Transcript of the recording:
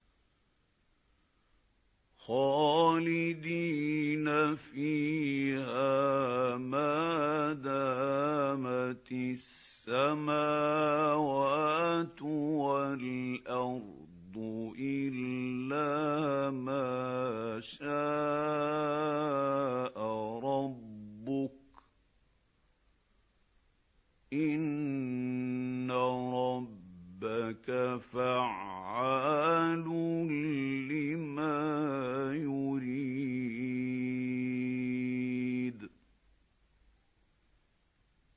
خَالِدِينَ فِيهَا مَا دَامَتِ السَّمَاوَاتُ وَالْأَرْضُ إِلَّا مَا شَاءَ رَبُّكَ ۚ إِنَّ رَبَّكَ فَعَّالٌ لِّمَا يُرِيدُ